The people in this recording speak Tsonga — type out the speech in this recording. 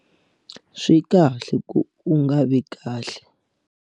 Swi kahle ku va u nga vi kahle.